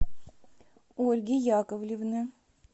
ольги яковлевны